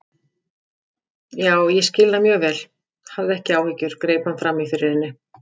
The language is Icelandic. Já, ég skil það mjög vel, hafðu ekki áhyggjur- greip hann fram í fyrir henni.